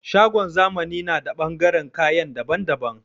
Shagon zamani na da ɓangaren kayan dabban dabban